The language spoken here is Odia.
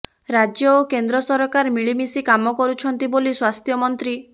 ରାଜ୍ୟ ଓ କେନ୍ଦ୍ର ସରକାର ମିଳିମିଶି କାମ କରୁଛନ୍ତି ବୋଲି ସ୍ବାସ୍ଥ୍ୟମନ୍ତ୍ର